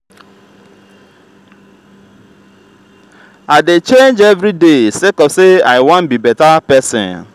i dey change everyday sake of say i wan be beta pesin.